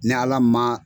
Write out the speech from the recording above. Ni ala ma